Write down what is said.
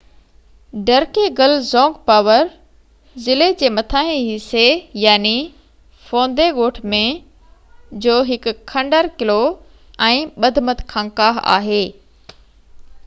ڊرڪيگل زونگ پارو ضلعي جي مٿانهن حصي فوندي ڳوٺ ۾ جو هڪ کنڊر قلعو ۽ ٻڌمت خانقاه آهي